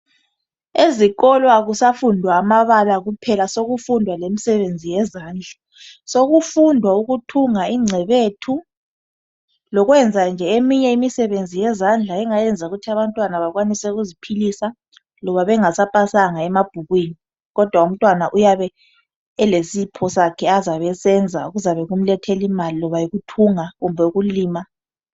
Ezikolo akusafundwa amabala kuphela sokufundwa lemisebenzi yezandla. Sokundwa ukuthunga incebethu lokwenzanje eminye imisebenzi yezandla, engayenza ukuthi abantwana bakwanise ukuziphilisa loba bengasapasanga emabhukwini, kodwa umtwana uyabe elesipho sakhe azabesenza kuzabekumlethela imali, loba yikuthunga kumbe ukulima.